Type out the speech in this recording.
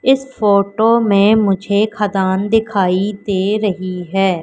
इस फोटो में मुझे खदान दिखाई दे रही है।